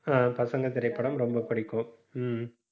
ஆஹ் பசங்க திரைப்படம் ரொம்ப பிடிக்கும். ஹம்